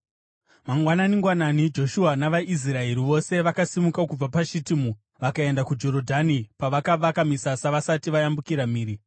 Mangwanani-ngwanani Joshua navaIsraeri vose vakasimuka kubva paShitimu vakaenda kuJorodhani, pavakavaka misasa vasati vayambukira mhiri.